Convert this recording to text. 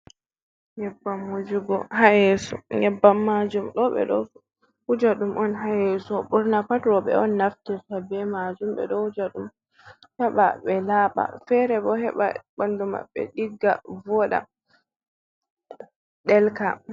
Nyebbam wujugo ha yeso. Nyebban majum do be do wuja dum on ha yeso. Burna pat robe on naftirta be majum. Be do wuja dum heba be laba, fere bo heba bandu mabbe digga, voda, delka.